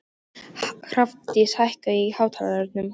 Hrafndís, hækkaðu í hátalaranum.